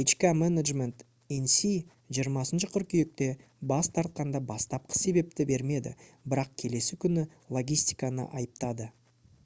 hk management inc 20 қыркүйекте бас тартқанда бастапқы себепті бермеді бірақ келесі күні логистиканы айыптады